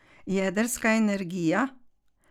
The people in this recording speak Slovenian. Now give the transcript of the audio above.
Jedrska energija?